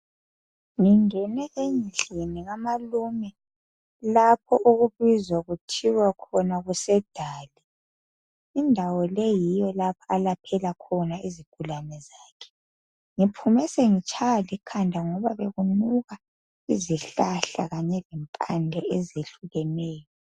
Ngingene endlini kamalume lapho okubizwa kuthiwa khona kusedali indawo leyi yiyo lapho alaphela khona izigulane zakhe ngiphume sengitshaywa likhanda ngoba bekunuka izihlahla lempande ezehlukeneyo